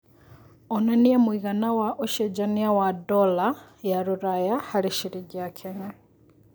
onanĩa mũigana wa ũcejanĩa wa dola ya rũraya harĩ cĩrĩngĩ ya Kenya